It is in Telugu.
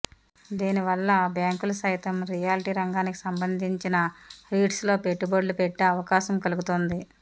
దీనివల్ల బ్యాంకులు సైతం రియాల్టీ రంగానికి సంబంధించిన రీట్స్లో పెట్టుబడులుపెట్టే అవకాశం కలుగుతోంది